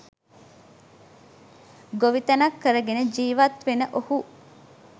ගොවිතැනක් කරගෙන ජීවත් වෙන ඔහු